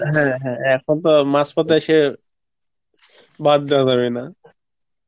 হ্যাঁ হ্যাঁ এখন তো মাঝ পথে এসে বাদ দেওয়া যাবে না